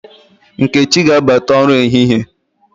Nkechi ga-abata ọrụ ehịhie